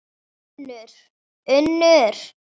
UNNUR: Unnur.